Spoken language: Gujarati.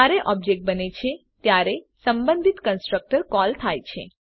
જયારે ઓબ્જેક્ટ બને છે ત્યારે સંબંધિત કન્સ્ટ્રકટર કોલ થાય છે